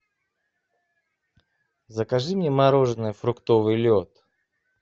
закажи мне мороженое фруктовый лед